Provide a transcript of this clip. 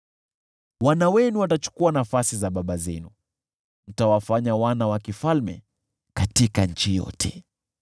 Wana wenu watachukua nafasi za baba zenu, mtawafanya wakuu katika nchi yote.